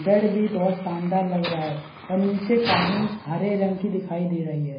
bed भी बहुत शानदार लग रहा है और निचे कालीन हरे रंग की दिखाई दे रही है |